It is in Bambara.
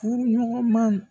Furu ɲɔgɔn ma